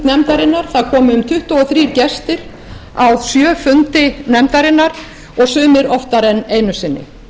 nefndarinnar það komu um tuttugu og þrír gestir á sjö fundi nefndarinnar og sumir oftar en einu sinni